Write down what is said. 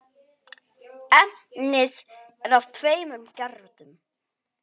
Efnið er af tveimur gerðum.